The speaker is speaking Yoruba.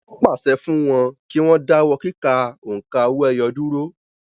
Wọ́n pàṣẹ fún wọn kí wọ́n dáwọ́ kíkà òǹkà owó-ẹyọ dúró